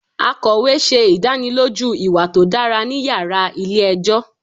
Akọwe ṣe idaniloju iwa to dara ni yara ile-ẹjọ